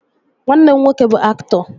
Nwanne m nwoke bụ aktọ